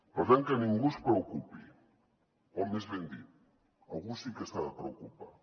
per tant que ningú es preocupi o més ben dit algú sí que s’ha de preocupar